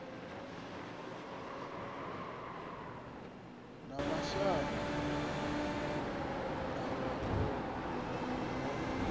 ya mashango ḓavha a yo